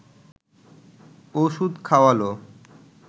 ওষুধ খাওয়াল